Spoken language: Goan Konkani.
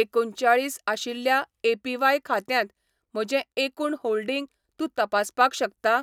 एकुणचाळीस आशिल्ल्या एपीव्हाय खात्यांत म्हजें एकूण होल्डिंग तूं तपासपाक शकता ?